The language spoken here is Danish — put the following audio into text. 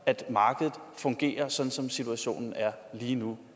at markedet fungerer sådan som situationen er lige nu